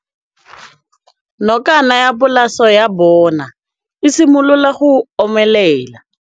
Nokana ya polase ya bona, e simolola go omelela.